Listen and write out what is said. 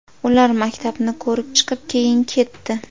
Ular maktabni ko‘rib chiqib, keyin ketdi.